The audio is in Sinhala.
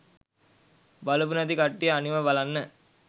බලපු නැති කට්ටිය අනිවා බලන්න.